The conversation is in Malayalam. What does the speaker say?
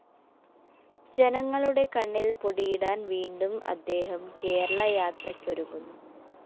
ജനങ്ങളുടെ കണ്ണില്‍ പൊടിയിടാന്‍ വീണ്ടും അദ്ദേഹം കേരള യാത്രയ്‌ക്കൊരുങ്ങുന്നു